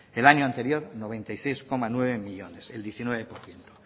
el año anterior noventa y seis coma nueve millónes el diecinueve por ciento